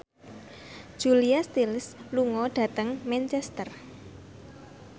Julia Stiles lunga dhateng Manchester